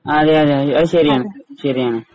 അതെ അതെ അതുശരിയാണ് ശരിയാണ്.